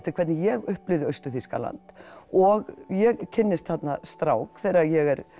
hvernig ég upplifði Austur Þýskaland og ég kynnist þarna strák þegar ég er